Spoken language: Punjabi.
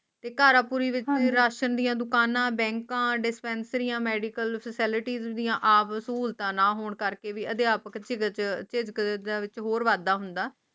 ਤੇ ਕਰਾ ਪੁਰੀ ਵਿੱਚ ਰਾਸ਼ਨ ਦੀਆਂ ਦੁਕਾਨਾਂ ਬੈਂਕਾਂ ਡਿਸਪੈਂਸਰੀਆਂ ਮੈਡੀਕਲ ਫ਼ੈਸਲਿਆਂ ਦੀਆਂ ਸਹੂਲਤਾ ਨਾ ਹੋਣ ਕਰ ਲ ਵੀ ਅਧਿਆਪਕ ਦਿਵਸ ਤੇ ਅਧਿਕਾਰੀਆਂ ਵਿੱਚ ਹੋਰ ਵਾਧਾ ਹੁੰਦਾ